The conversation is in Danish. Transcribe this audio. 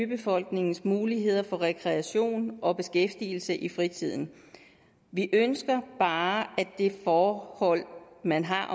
befolkningens mulighed for rekreation og beskæftigelse i fritiden vi ønsker bare at det forhold man har